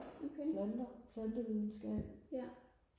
planter plantevidenskab